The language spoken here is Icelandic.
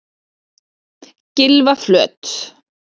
Gylfaflöt